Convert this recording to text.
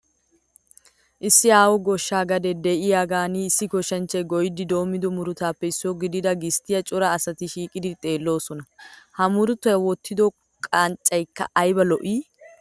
Issi aaho goshsha gadee de'iyaagan issi goshshanchchay goyyidi demmido murutatuppe issuwa gidida gisttiya cora asati shiiqidi xeelloosona. Ha murutaa wottido qanccayikka ayiba lo'i!